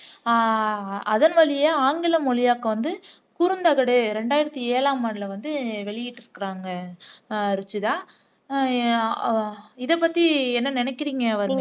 ஆஹ் அதன்வழியே ஆங்கில மொழியாக்கம் வந்து குறுந்தகடு இரண்டாயிரத்து ஏழாம் ஆண்டில வந்து வெளியிட்டுருக்காங்க ருஷிதா ஹம் இதைப்பத்தி என்ன நினைக்கிறீங்க வர்னிகா